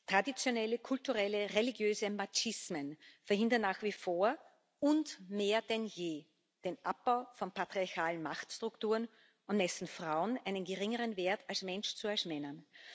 Traditionelle, kulturelle, religiöse Machismen verhindern nach wie vor und mehr denn je den Abbau von patriarchalen Machtstrukturen und messen Frauen einen geringeren Wert als Mensch zu als Männern.